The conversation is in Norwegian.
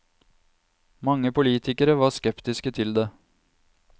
Mange politikere var skeptiske til det.